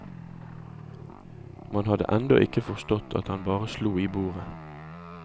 Man hadde enda ikke forstått at han bare slo i bordet.